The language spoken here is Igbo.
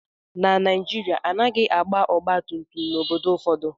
Na Naijiria, a naghị agba ọgba tum tum n’obodo ụfọdụ